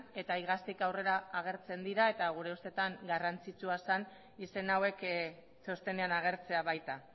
eta iaztik aurrera agertzen dira eta gure ustetan garrantzitsua zen izen hauek txostenean agertzea baita